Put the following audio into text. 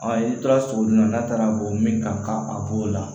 A i tora sogo dun na n'a taara bɔ min ka a b'o la